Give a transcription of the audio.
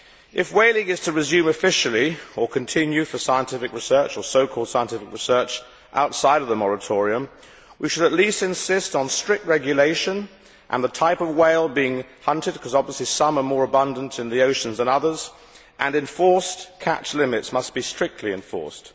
If whaling is to resume officially, or continue for scientific research or so called scientific research outside of the moratorium, we should at least insist on strict regulation and on the type of whale being hunted, because obviously some are more abundant in the oceans than others, and catch limits must be strictly enforced.